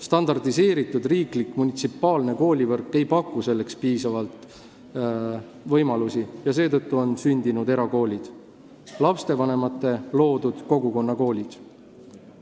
Standardiseeritud riiklik munitsipaalne koolivõrk ei paku selleks piisavalt võimalusi ja seetõttu on sündinud erakoolid, lastevanemate loodud kogukonnakoolid.